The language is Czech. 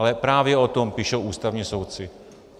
Ale právě o tom píšou ústavní soudci.